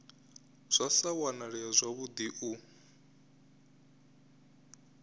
zwa sa wanalee zwavhudi u